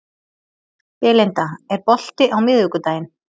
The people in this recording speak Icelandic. Belinda, er bolti á miðvikudaginn?